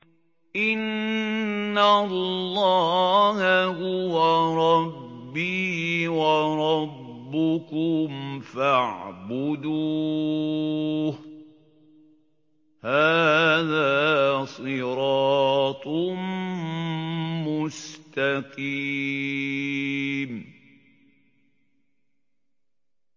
إِنَّ اللَّهَ هُوَ رَبِّي وَرَبُّكُمْ فَاعْبُدُوهُ ۚ هَٰذَا صِرَاطٌ مُّسْتَقِيمٌ